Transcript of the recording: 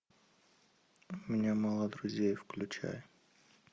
у меня мало друзей включай